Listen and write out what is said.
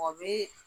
O bɛ